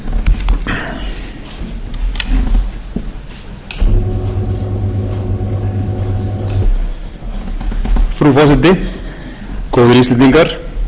svona á síðustu missirum ég fagna líka ákalli margra hérna um málefnaleg vinnubrögð og vissulega er